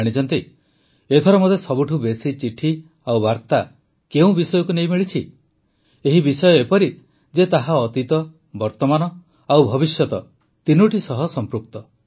ଜାଣିଛନ୍ତି ଏଥର ମୋତେ ସବୁଠୁ ବେଶୀ ଚିଠି ଓ ବାର୍ତ୍ତା କେଉଁ ବିଷୟକୁ ନେଇ ମିଳିଛି ଏହି ବିଷୟ ଏପରି ଯେ ତାହା ଅତୀତ ବର୍ତ୍ତମାନ ଓ ଭବିଷ୍ୟତ ତିନୋଟି ସହ ସଂପୃକ୍ତ